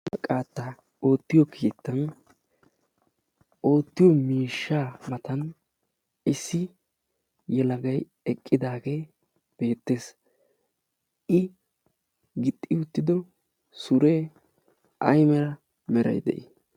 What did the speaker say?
isporttiya qaataa ootiyo keettan oottiyo miishshaa matan issi yelagay eqqidaagee beetees. i gixxi uttido suree ay mala meray de'ii?